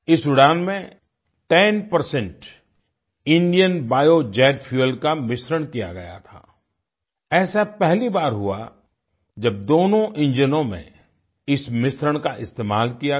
इस उड़ान में 10 इंडियन बायोजेट फ्यूएल का मिश्रण किया गया था आई ऐसा पहली बार हुआ जब दोनों इंजनो में इस मिश्रण का इस्तेमाल किया गया